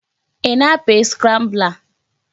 Ị na-apị scrambler?